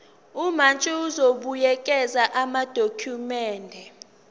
umantshi uzobuyekeza amadokhumende